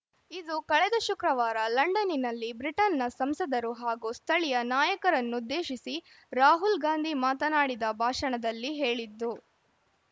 ಇದು ಕಳೆದ ಶುಕ್ರವಾರ ಲಂಡನ್ನಿನಲ್ಲಿ ಬ್ರಿಟನ್ನಿನ ಸಂಸದರು ಹಾಗೂ ಸ್ಥಳೀಯ ನಾಯಕರನ್ನುದ್ದೇಶಿಸಿ ರಾಹುಲ್‌ ಗಾಂಧಿ ಮಾತನಾಡಿದ ಭಾಷಣದಲ್ಲಿ ಹೇಳಿದ್ದು